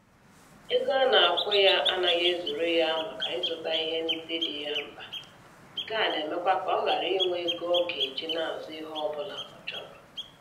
Ego a na-akwụ ya anaghị ezuru ya maka ịzụta ihe ndị dị ya mkpa, nke a na-emekwa ka ọ ghara inwe ego ọ ga-eji na-azụ ihe ọ bụla ọ chọrọ.